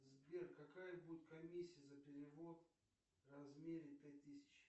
сбер какая будет комиссия за перевод в размере пять тысяч